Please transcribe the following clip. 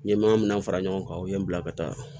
N ye maa min na fara ɲɔgɔn kan o ye n bila ka taa